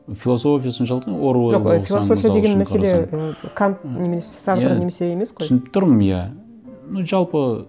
философия соншалық ну оруэллды оқысаң деген мәселе ы кант немесе сартр немесе емес қой иә түсініп тұрмын иә ну жалпы